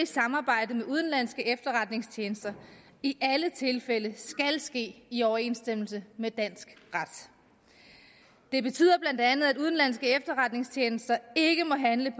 samarbejde med udenlandske efterretningstjenester i alle tilfælde skal ske i overensstemmelse med dansk ret det betyder bla at udenlandske efterretningstjenester ikke må handle